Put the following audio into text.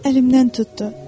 Mənim əlimdən tutdu.